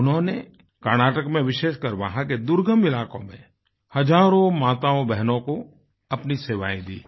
उन्होंने कर्नाटक में विशेषकर वहाँ के दुर्गम इलाकों में हजारों माताओंबहनों को अपनी सेवायें दीं